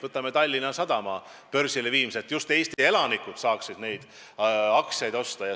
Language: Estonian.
Võtame näiteks Tallinna Sadama börsile viimise, et just Eesti elanikud saaksid neid aktsiaid osta.